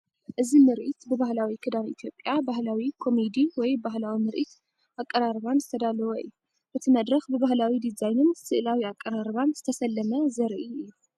እዚ ምርኢት ብባህላዊ ክዳን ኢትዮጵያን ባህላዊ ኮሜዲ ወይ ባህላዊ ምርኢት ኣቀራርባን ዝተዳለወ እዩ። እቲ መድረኽ ብባህላዊ ዲዛይንን ስእላዊ ኣቀራርባን ዝተሰለመ ዘርኢ እዩ።